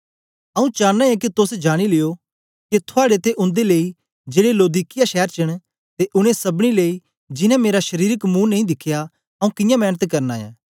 आऊँ चानां ऐं के तोस जानी लियो के थुआड़े ते उन्दे लेई जेड़े लौदीकिया शैर च न ते उनै सबनी लेई जिन्नें मेरा शारीरिक मुंह नेई दिखया आऊँ कियां मेंनत करना ऐं